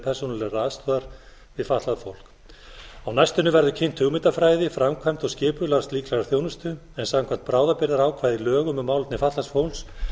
persónulegrar aðstoðar við fatlað fólk á næstunni verður kynnt hugmyndafræði framkvæmd og skipulag slíkrar þjónustu en samkvæmt bráðabirgðaákvæði í lögum um málefni fatlaðs fólks